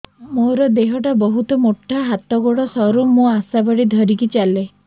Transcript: ମୋର ଦେହ ଟା ବହୁତ ମୋଟା ହାତ ଗୋଡ଼ ସରୁ ମୁ ଆଶା ବାଡ଼ି ଧରି ଚାଲେ